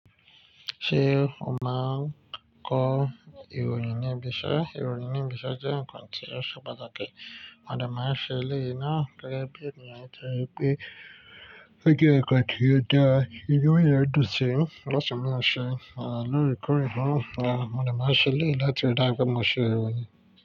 Ṣé o máa ń kọ ìròyìn ní ibiṣẹ́? Ìròyìn ní ibiṣẹ́ jẹ́ ǹkan tí ó ṣe pàtàkì. Mo dẹ́ máa ń ṣe eléèyí náà gẹ́gẹ́ bí ènìyàn nítorí pé ó jẹ́ ǹkan tí ó dá ra, tí inú èèyàn dùn sí. Láti máa ṣe, lóòrèkóòrè náà, mo dé máa ń ṣe eléèyí láti rí dára pé mo ṣe ìròyìn.